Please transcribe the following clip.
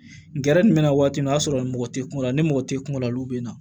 Gɛrɛ jumɛn na waati min o y'a sɔrɔ mɔgɔ tɛ kungo la ni mɔgɔ tɛ kungo la olu bɛ na